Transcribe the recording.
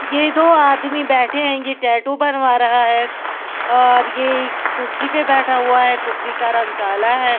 यह दो आदमी बैठे हैं यह टैटू बनवा रहा है और यह कुर्सी पे बैठा हुआ है कुर्सी का रंग काला है।